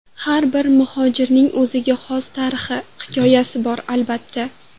Har bir muhojirning o‘ziga xos tarixi, hikoyasi bor albatta.